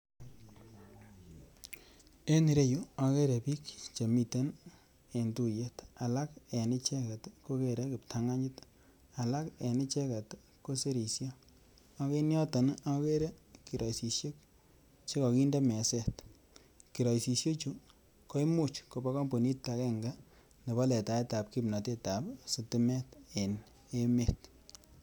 En ireyuu okeree bik chemiten en tuyet alak en icheket kokere kiptanganyit alak en ichewket kosirishe ak en yoton nii okere kirosishek chekokinde meset, kirosishek chuu komuch kobo compunit agenge nebo letaet ab kipnotet ab sitimet en emet.